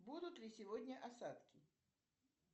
будут ли сегодня осадки